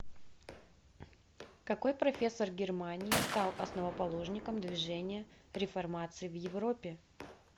какой профессор германии стал основоположником движения реформации в европе